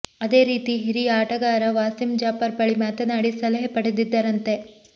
ಅದೇ ರೀತಿ ಹಿರಿಯ ಆಟಗಾರ ವಾಸಿಂ ಜಾಫರ್ ಬಳಿ ಮಾತನಾಡಿ ಸಲಹೆ ಪಡೆದಿದ್ದರಂತೆ